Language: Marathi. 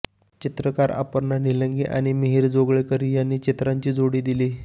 चित्रकार अपर्णा निलंगे आणि मिहीर जोगळेकर यांनी चित्रांची जोड दिली